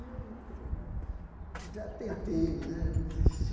E eu digo, pô né, já tentei né, já desisti.